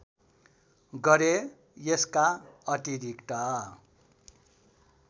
गरे यसका अतिरिक्त